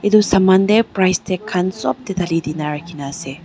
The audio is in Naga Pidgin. etu saman te pricetag khan sop te dali dine rakhi ne ase.